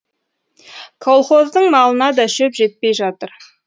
колхоздың малына да шөп жетпей жатыр